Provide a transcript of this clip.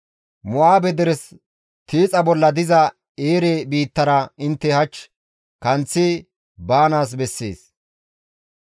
«Mo7aabe deres tiixa bolla diza Eere biittara intte hach kanththi baanaas bessees.